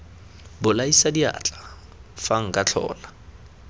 bolaisa diatla fa nka tlhola